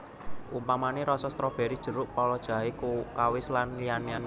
Umpamané rasa strobéry jeruk pala jahe kawis lan liya liyané